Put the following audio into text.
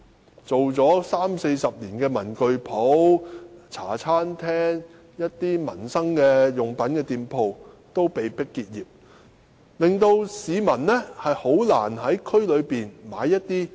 經營了三四十年的文具店、茶餐廳和售賣民生用品的店鋪均被迫結業，令市民難以在區內購買日用品。